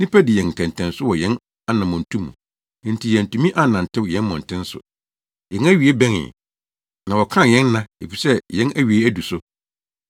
Nnipa dii yɛn ntɛntɛnso wɔ yɛn anammɔntu mu, enti yɛantumi annantew yɛn mmɔnten so. Yɛn awiei bɛnee, na wɔkan yɛn nna, efisɛ na yɛn awiei adu so.